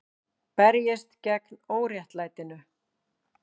Berjist gegn óréttlætinu